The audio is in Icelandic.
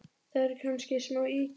Það eru kannski smá ýkjur.